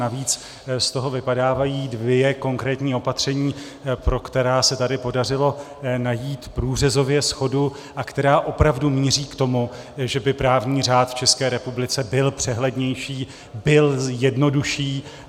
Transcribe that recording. Navíc z toho vypadávají dvě konkrétní opatření, pro která se tady podařilo najít průřezově shodu a která opravdu míří k tomu, že by právní řád v České republice byl přehlednější, byl jednodušší.